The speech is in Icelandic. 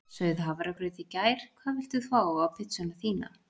Sauð hafragraut í gær Hvað vilt þú fá á pizzuna þína?